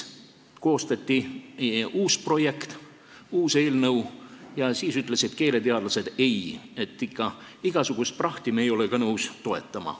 Koostati uus projekt, uus eelnõu, ja siis ütlesid keeleteadlased, et ei, igasugust prahti ei ole me ka ikka nõus toetama.